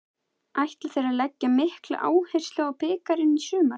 Ætla þeir að leggja mikla áherslu á bikarinn í sumar?